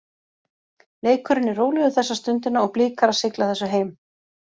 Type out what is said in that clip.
Leikurinn er rólegur þessa stundina og Blikar að sigla þessu heim.